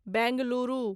Bengaluru